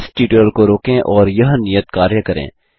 इस ट्यूटोरियल को रोकें और यह नियत कार्य करें